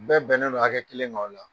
Bɛɛ bɛnnen don hakɛ kelen ka o la.